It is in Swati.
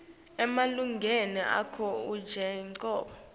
emalungelo akho njengobe